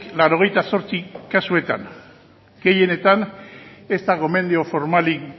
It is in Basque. laurogeita zortzi kasuetan gehienetan ez da gomendio formalik